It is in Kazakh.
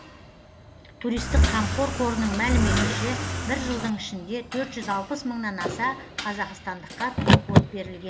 туристік қамқор қорының мәліметінше бір жылдың ішінде төрт жүз алпыс мыңнан аса қазақстандыққа туркод берілген